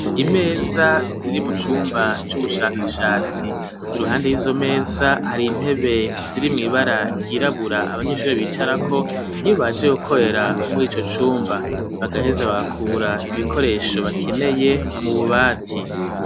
Imeza ziri mu cumba c'ubushakashatsi iruhande yizo meza hari intebe ziri mwibara ryirabura abanyeshuri bicarako iyo baje gukorera murico cumba bagaheza bagakura ibikoresho bakeneye mu bubati.